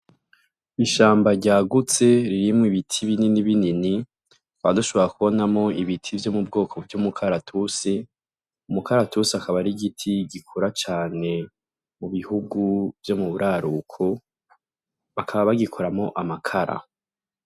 Ishamba ryagutse ririmwo ibiti binini binini tukaba dushibora kubonamwo ibiti vyo mu bwoko vy'umukaratusi, umukaratusi akaba ari igiti gikura cane mu bihugu vyo mu buraruko bakaba bagikuramwo amakara.